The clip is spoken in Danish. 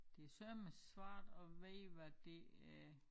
Det søreme svært at vide hvad det er